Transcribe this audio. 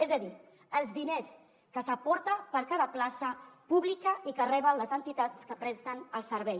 és a dir els diners que s’aporta per cada plaça pública i que reben les entitats que presten el servei